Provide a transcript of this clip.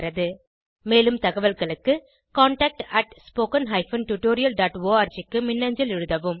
மேலும் தகவல்களுக்கு contactspoken tutorialorg க்கு மின்னஞ்சல் எழுதவும்